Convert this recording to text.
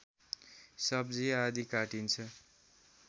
सब्जी आदि काटिन्छ